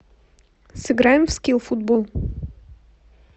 сыграем в скилл футбол